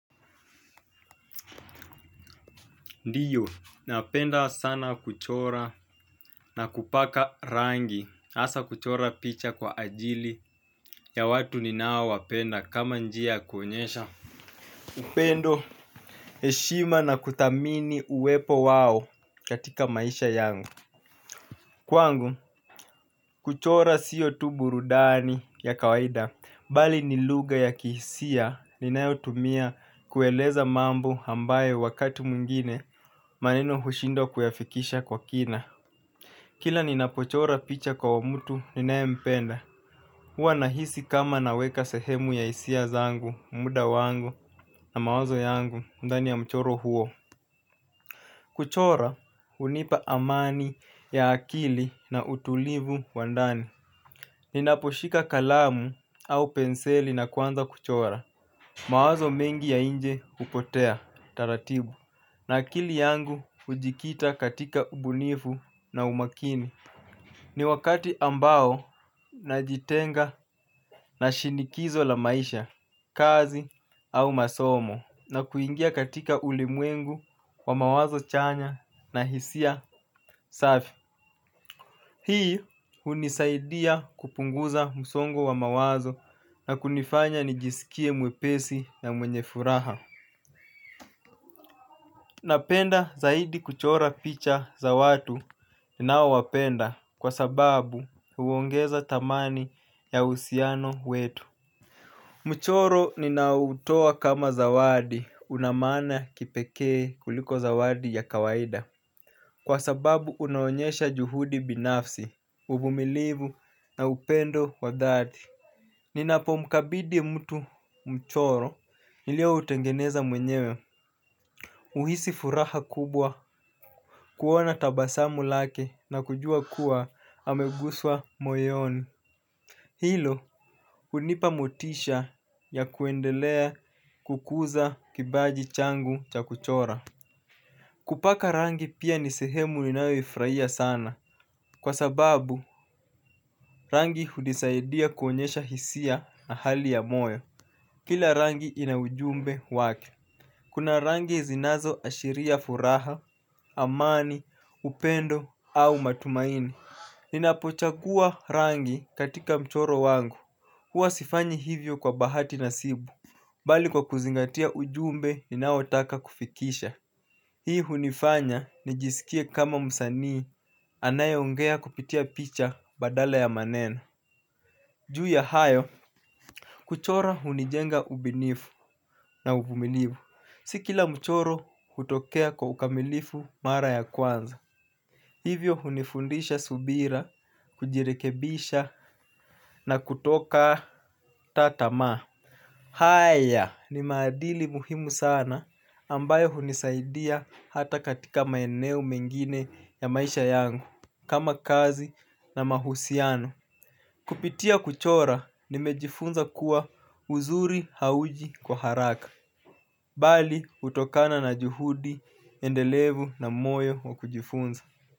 Ndiyo napenda sana kuchora na kupaka rangi hasa kuchora picha kwa ajili ya watu ninaowapenda kama njia ya kuonyesha upendo, heshima na kuthamini uwepo wao katika maisha yangu. Kwangu kuchorabsio tu burudani ya kawaida. Bali ni lugha ya kihisia ninayotumia kueleza mambo ambayo wakati mwingine maneno hushindwa kuyafikisha kwa kina. Kila ninapochora picha kwa mtu ninayempenda hua nahisi kama naweka sehemu ya hisia zangu, muda wangu, na mawazo yangu ndani ya mchoro huo. Kuchora hunipa amani ya akili na utulivu wa ndani. Ninaposhika kalamu au penseli na kuanza kuchora mawazo mengi ya nje hupotea, taratibu. Na akili yangu ujikita katika ubunifu na umakini. Ni wakati ambao najitenga na shinikizo la maisha, kazi au masomo na kuingia katika ulimwengu wa mawazo chanya na hisia safi. Hii hunisaidia kupunguza msongo wa mawazo na kunifanya nijisikie mwepesi na mwenye furaha. Napenda zaidi kuchora picha za watu ninaowapenda kwa sababu huongeza thamani ya uhusiano wetu. Mchoro ninautoa kama zawadi una maana ya kipekee kuliko zawadi ya kawaida kwa sababu unaonyeaha juhudi binafsi, uvumilivu na upendo wa dhati. Ninapomkabidhi mtu mchoro nilioutengeneza mwenyewe uhisi furaha kubwa kuona tabasamu lake na kujua kuwa ameguswa moyoni. Hilo hunipa motisha ya kuendelea kukuza kipaji changu cha kuchora. Kupaka rangi pia ni sehemu ninayoifurahia sana. Kwa sababu rangi hunisaidia kuonyesha hisia na hali ya moyo. Kila rangi ina ujumbe wake. Kuna rangi zinazo ashiria furaha, amani, upendo au matumaini. Ninapochagua rangi katika mchoro wangu, huwa sifanyi hivyo kwa bahati nasibu bali kwa kuzingatia ujumbe ninaotaka kufikisha. Hii hunifanya nijisikie kama msanii anayeongea kupitia picha badala ya maneno. Juu ya hayo, kuchora hunijenga ubunifu na uvumilivu. Si kila mchoro hutokea kwa ukamilifu mara ya kwanza. Hivyo hunifundisha subira, kujirekebisha na kutokata tamaa. Haya ni maadili muhimu sana ambayo hunisaidia hata katika maeneo mengine ya maisha yangu. Kama kazi na mahusiano kupitia kuchora nimejifunza kuwa uzuri hauji kwa haraka bali hutokana na juhudi endelevu na moyo wa kujifunza.